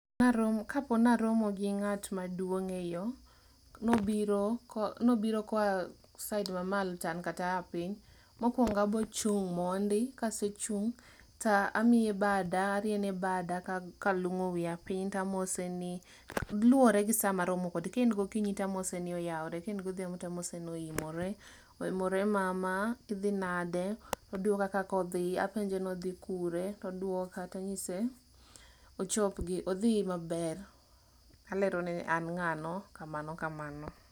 Naromo, kapo naromo gi ng'at maduong' e yo, nobiro ko, nobiro koa side mamalo to an kata aa piny. Mokwongo abrochung mondi, ta amiye bada, ariene bada kalung'o wiya piny tamose ni, luwore gi sa marome kode. Kaen gokinyi tamose ni oyawore, kaen godhiambo tamose ni oimore. Oimore mama, idhi nade? Odwoka kakodhi, apenje nodhi kure? Todwoka tang'ise, ochop gi odhi maber. Alero ne an ng'ano kamano kamano.